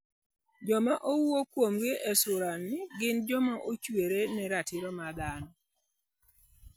Joma owuo kuomgi e sulani gin joma nochiwore ne Ratiro mag Dhano.